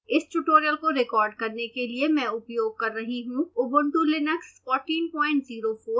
इस tutorial को record करने के लिए मैं उपयोग कर रही हूँ